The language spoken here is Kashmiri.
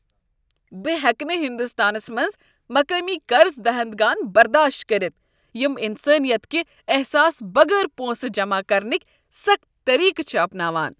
بہٕ ہیٚکہٕ نہٕ ہنٛدستانس منٛز مقٲمی قرض دہندگان برداشت کٔرتھ یم انسٲنیت کِہ احساس بغٲر پۄنسہٕ جمع کرنٕکۍ سخت طریقہٕ چھ اپناوان۔